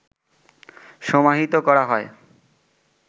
সমাহিত করা হয়